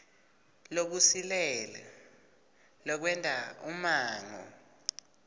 lokusilele lokwenta umongo